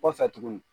Kɔfɛ tuguni